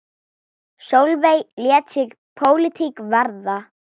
Sólveig lét sig pólitík varða.